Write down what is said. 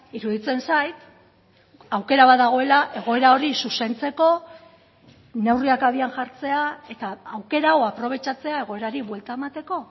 iruditzen zait aukera bat dagoela egoera hori zuzentzeko neurriak abian jartzea eta aukera hau aprobetxatzea egoerari buelta emateko